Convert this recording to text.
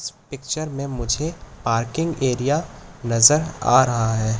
इस पिक्चर में मुझे पार्किंग एरिया नजर आ रहा है।